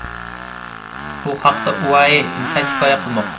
Bu haqda UAE Inside hikoya qilmoqda .